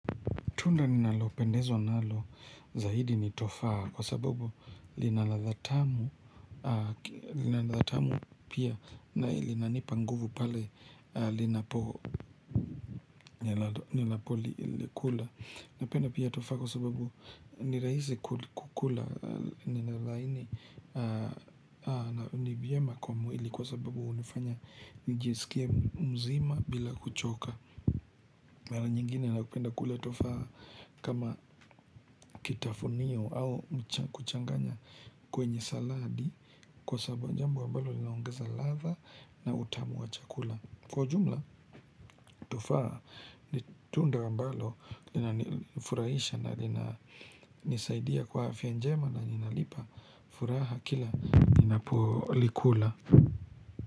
Tunda ninalopendezwa nalo zaidi nitofaa kwa sababu lina ladha tamu lina ladha tamu pia na linanipa nguvu pale ninapolikula. Napenda pia tofaa kwa sababu nirahisi kukula, ni la laini na ni vyema kwa mwili kwa sababu hunifanya nijisikie mzima bila kuchoka. Mara nyingine napenda kula tofaa kama kitafunio au kuchanganya kwenye saladi, jambo ambalo linaongeza ladha na utamu wa chakula. Kwa jumla tofaa ni tunda ambalo linanifurahisha na linanisaidia kwa afya njema na linanipa furaha kila ninapolikula.